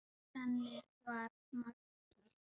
Þannig var Maggi.